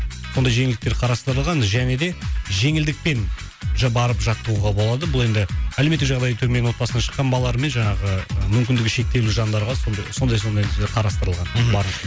мұндай жеңілдіктер қарастырылған және де жеңілдікпен уже барып жаттығуға болады бұл енді әлеуметтік жағдайы төмен отбасынан шыққан балалар мен жаңағы мүмкіндігі шектеулі жандарға сонда сондай қарастырылған мхм